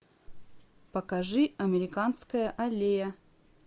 покажи американская аллея